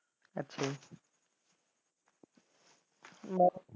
ਅੱਛਾ ਜੀ